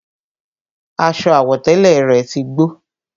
Aṣọ àwọ̀tẹ́lẹ̀ rẹ̀ tí gbó